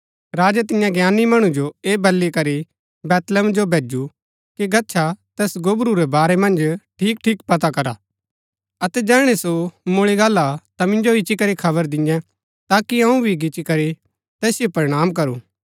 राजै तियां ज्ञानी मणु जो ऐह बली करी बैतलहम जो भैजु कि गच्छा तैस गोबरू रै बारै मन्ज ठीकठीक पता करा अतै जैहणै सो मुळी गाला ता मिन्जो इच्ची करी खबर दिन्यै ताकि अऊँ भी गिच्ची करी तैसिओ प्रणाम करूं